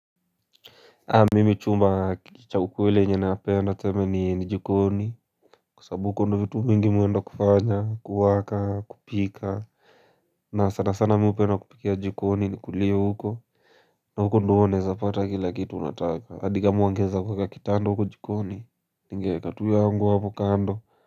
Mimi chumba cha ukule ukweli chene napenda tuseme ni jikoni kwa sababu huko ndo vitu mingi mimi huenda kufanya kuwaka kupika na sana sana mimi hupenda kupikia jikoni nikulie huko na huko ndo huwa naezapata kila kitu unataka hadi kama huongeza mpaka kitanda huko jikoni ningeweka tu yangu hapo kando.